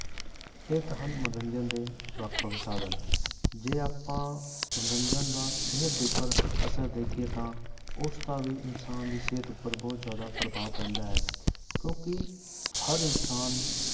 ਇਹ ਤਾਂ ਹਨ ਮਨੋਰੰਜਨ ਦੇ ਵੱਖ ਵੱਖ ਸਾਧਨ ਜੇ ਆਪਾਂ ਮਨੋਰੰਜਨ ਦਾ ਸਿਹਤ ਦੇ ਉੱਪਰ ਅਸਰ ਦੇਖੀਏ ਤਾਂ ਉਸਦਾ ਵੀ ਇਨਸਾਨ ਦੀ ਸਿਹਤ ਉੱਪਰ ਬਹੁਤ ਜ਼ਿਆਦਾ ਪ੍ਰਭਾਵ ਪੈਂਦਾ ਹੈ, ਕਿਉਂਕਿ ਹਰ ਇਨਸਾਨ